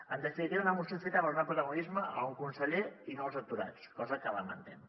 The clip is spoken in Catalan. en definitiva una moció feta per donar protagonisme a un conseller i no als atu·rats cosa que lamentem